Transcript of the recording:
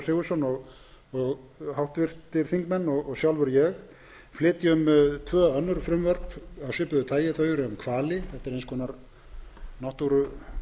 sigurðsson og sjálfur ég flytjum tvö önnur frumvarp af svipuðu tagi þau eru um